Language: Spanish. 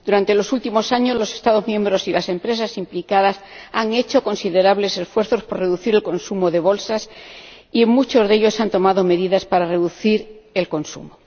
Durante los últimos años, los Estados miembros y las empresas implicadas han hecho considerables esfuerzos por reducir el consumo de bolsas y muchos de ellos han tomado medidas para reducir su consumo.